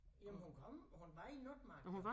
Jamen hun kom hun var i Notmark